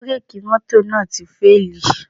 Bírèkì mọ́tò náà ti fíèlì